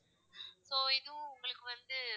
So இன்னும் உங்களுக்கு வந்து,